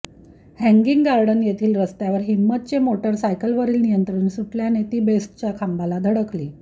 hanging garden येथील रस्त्यावर हिंमतचे मोटारसायकलवरील नियंत्रण सुटलयाने ती बेस्टच्या खांबाला धडकली